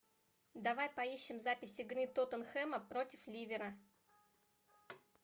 давай поищем запись игры тоттенхэма против ливера